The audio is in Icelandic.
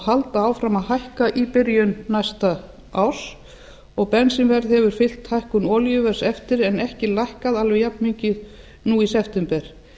halda áfram að hækka í byrjun næsta árs og bensínverð hefur fylgt hækkun olíuverðs eftir en ekki lækkað alveg jafnmikið nú í september